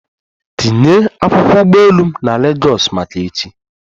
Tinye akwụkwọ ụgbọ elu m na Legọs maka echi!